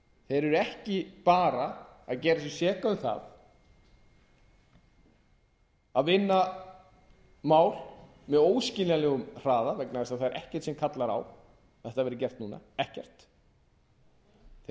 eru ekki bara að gera sig seka um það að vinna mál með óskiljanlegum hraða vegna þess að það er ekkert sem kallar á að þetta verði gert núna ekkert þeir eru